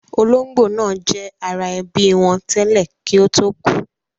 Ológbò náà jẹ́ ara ẹbí wọn tẹ́lẹ̀ kí ó tó kú